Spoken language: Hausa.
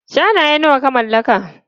Shanaye nawa ka mallaka?